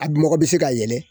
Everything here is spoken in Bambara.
A dun mɔgɔ bi se ka yɛlɛ